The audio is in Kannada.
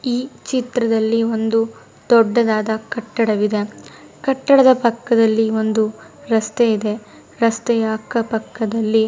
ಈ ಚಿತ್ರದಲ್ಲಿ ಒಂದು ದೊಡ್ಡದಾದ ಕಟ್ಟಡವಿದೆ. ಕಟ್ಟಡದ ಪಕ್ಕದಲ್ಲಿ ಒಂದು ರಸ್ತೆ ಇದೆ. ರಸ್ತೆಯ ಅಕ್ಕಪಕ್ಕದಲ್ಲಿ--